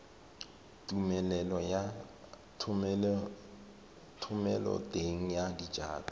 tumelelo ya thomeloteng ya dijalo